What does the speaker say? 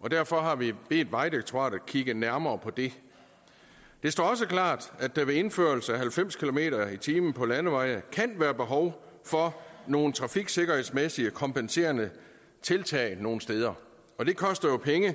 og derfor har vi bedt vejdirektoratet kigge nærmere på det det står også klart at der ved en indførelse af halvfems kilometer per time på landeveje kan være behov for nogle trafiksikkerhedsmæssige kompenserende tiltag nogle steder og det koster jo penge